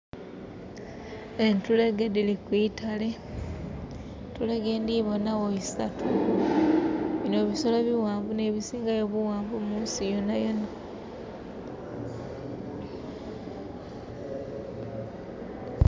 Entulege diri kwitale. Entulege ndibonawo isatu. Bino bisolo biwanvu n'ebisingayo buwanvu munsi yonayona